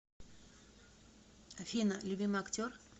афина любимый актер